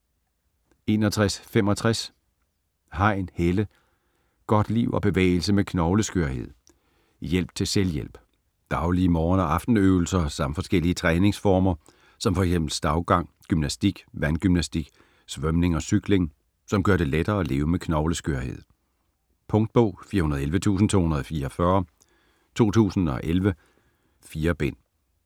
61.65 Hein, Helle: Godt liv og bevægelse med knogleskørhed: hjælp til selvhjælp Daglige morgen- og aftenøvelser samt forskellige træningsformer som fx stavgang, gymnastik, vandgymnastik, svømning og cykling, som gør det lettere at leve med knogleskørhed. Punktbog 411244 2011. 4 bind.